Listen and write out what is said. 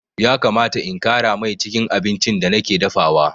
Ya kamata in ƙara mai cikin abincin da nake dafawa.